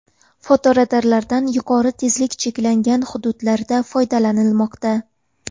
Fotoradardan yuqori tezlik cheklangan hududlarda foydalanilmoqda.